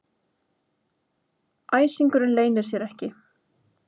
Æsingurinn leynir sér ekki.